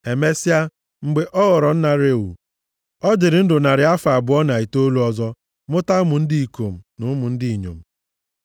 Emesịa, mgbe ọ ghọrọ nna Reu, ọ dịrị ndụ narị afọ abụọ na itoolu ọzọ mụta ụmụ ndị ikom na ụmụ ndị inyom.